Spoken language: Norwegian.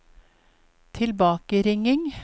tilbakeringing